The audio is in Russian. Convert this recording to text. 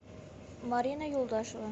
марина юлдашева